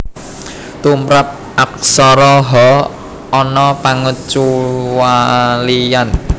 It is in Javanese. Tumrap Aksara Ha ana pangecualian